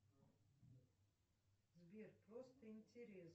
сбер просто интерес